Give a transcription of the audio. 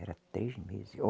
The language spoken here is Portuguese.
Era três meses.